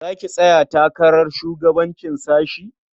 Za ki tsaya takarar shugabancin sashe?